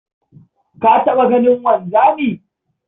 Ka taɓa ganin wanzami?